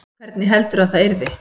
Hvernig heldurðu að það yrði?